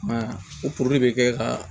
I m'a ye o puruke ka